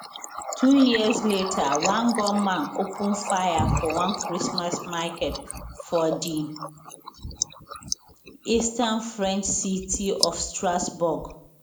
two years later one gunman open fire for one christmas market for di eastern french city of strasbourg